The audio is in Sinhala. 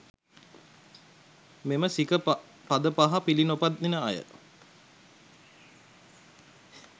මෙම සික පද පහ පිළිනොපදින අය,